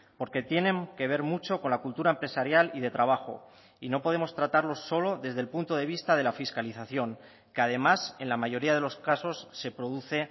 porque tienen que ver mucho con la cultura empresarial y de trabajo y no podemos tratarlo solo desde el punto de vista de la fiscalización que además en la mayoría de los casos se produce